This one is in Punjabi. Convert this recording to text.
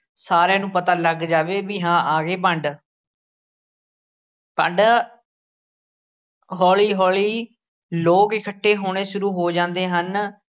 ਸਾਰਿਆਂ ਨੂੰ ਪਤਾ ਲੱਗ ਜਾਵੇ ਬਈ ਹਾਂ ਆ ਗਏ ਭੰਡ ਭੰਡ ਹੌਲੀ ਹੌਲੀ ਲੋਕ ਇਕੱਠੇ ਹੋਣੇ ਸ਼ੁਰੂ ਹੋ ਜਾਂਦੇ ਹਨ।